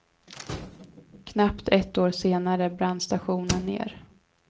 Knappt ett år senare brann stationen ner.